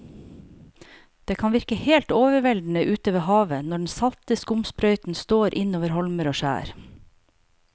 Det kan virke helt overveldende ute ved havet når den salte skumsprøyten slår innover holmer og skjær.